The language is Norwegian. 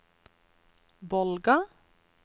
Bolga